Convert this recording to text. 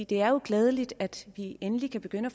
det er jo glædeligt at vi endelig kan begynde